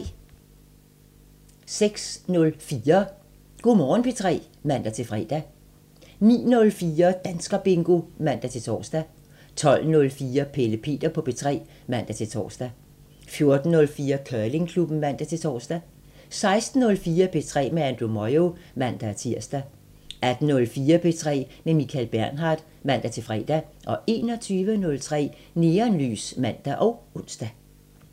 06:04: Go' Morgen P3 (man-fre) 09:04: Danskerbingo (man-tor) 12:04: Pelle Peter på P3 (man-tor) 14:04: Curlingklubben (man-tor) 16:04: P3 med Andrew Moyo (man-tir) 18:04: P3 med Michael Bernhard (man-fre) 21:03: Neonlys (man og ons)